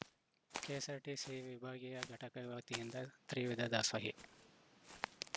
KSRTC ವಿಭಾಗೀಯ ಘಟಕದ ವತಿಯಿಂದ ತ್ರಿವಿಧ ದಾಸೋಹಿ